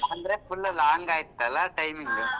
ಅಂದ್ರೆ full long ಆಯ್ತಲ್ಲ timing .